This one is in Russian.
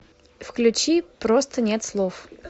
включи просто нет слов